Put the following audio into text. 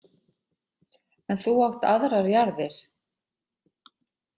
En þú átt aðrar jarðir.